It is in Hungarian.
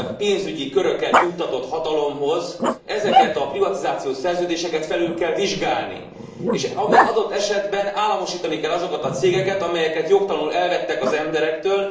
pénzügyi köröket juttatott hatalomhoz, ezeket a privatizációs szerződéseket felül kell vizsgálni, és adott esetben államosítani kell azokat a cégeket, amelyeket jogtalanuk elvettek az emberektől.